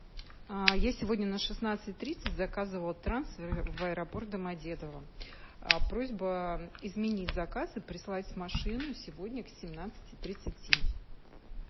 я сегодня на шестнадцать тридцать заказывала трансфер в аэропорт домодедово просьба изменить заказ и прислать машину сегодня к семнадцати тридцати